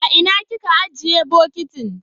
aina kika ajiye bokitin?